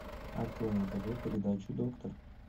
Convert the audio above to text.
открой на тв передачу доктор